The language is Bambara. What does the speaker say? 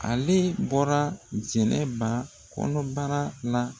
Ale bɔra jɛnɛba kɔnɔbara la.